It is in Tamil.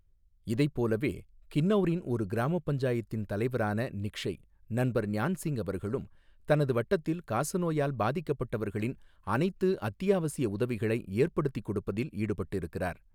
இதைப் போலவே கின்னௌரின் ஒரு கிராமப் பஞ்சாயத்தின் தலைவரான நிக்ஷய் நண்பர் ஞான் சிங் அவர்களும், தனது வட்டத்தில் காசநோயால் பாதிக்கப்பட்டவர்களின் அனைத்து அத்தியாவசிய உதவிகளை ஏற்படுத்திக் கொடுப்பதில் ஈடுபட்டிருக்கிறார்.